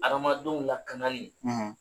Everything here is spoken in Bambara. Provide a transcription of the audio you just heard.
Adamadenw lakanali